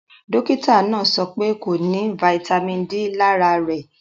Dọkìtà náà sọ̀ pẹ̀ kò ní fítamì D lárà rè